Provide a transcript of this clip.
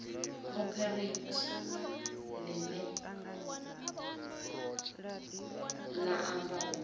cooperate ḽine ḽa amba u